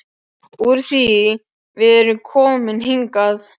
Úr því við erum komin hingað.